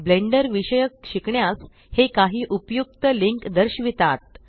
blender विषयक शिकण्यास हे काही उपयुक्त लिंक दर्शवितात